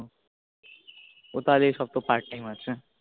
ঐ সব তো part time আছে